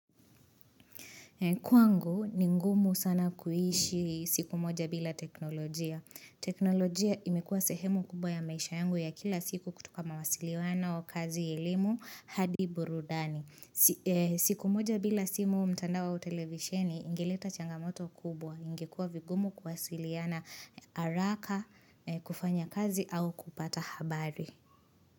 Kwangu ni ngumu sana kuishi siku moja bila teknolojia. Teknolojia imekuwa sehemu kubwa ya maisha yangu ya kila siku kutoka mawasiliwano kazi elimu hadi burudani. Siku moja bila simu mtandao au televisheni ingileta changamoto kubwa. Ingekua vigumu kuwasiliana haraka kufanya kazi au kupata habari.